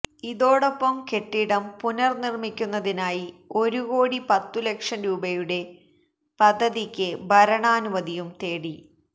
ഇതോടൊപ്പം കെട്ടിടം പുനര്നിര്മിക്കുന്നതിനായി ഒരുകോടി പത്തുലക്ഷം രൂപയുടെ പദ്ധതിക്ക് ഭരണാനുമതിയും തേടി